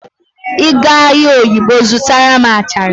Ị gaa ahịa oyigbo zụtara m achara